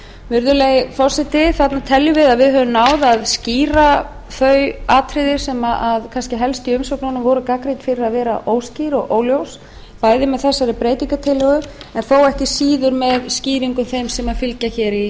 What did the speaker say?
virðulegi forseti við teljum að með þessu höfum við náð að skýra þau atriði sem voru helst gagnrýnd í umsögnunum fyrir að vera óskýr og óljós bæði með breytingartillögunni og ekki síður með þeim skýringum sem fylgja í